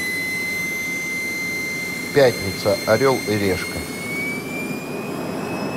пятница орел и решка